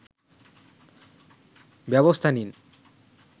ব্যবস্থা নিন